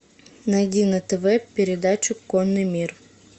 найди на тв передачу конный мир